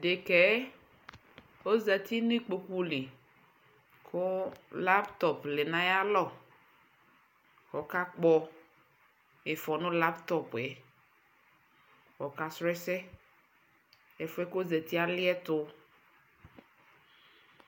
Dekɛɛ ɔzati nikpokuli kuu laptop lɛ nayalɔ kɔkakpɔ iƒɔ nu laptop yɛkɔka srɔɔ ɛsɛ Ɛfʋɛ kɔzatiyɛ aliɛtu